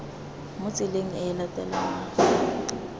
mo tseleng e e latelanang